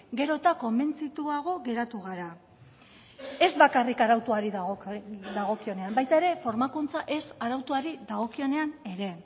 gero eta konbentzituago geratu gara ez bakarrik arautuari dagokionean baita ere formakuntza ez arautuari dagokionean ere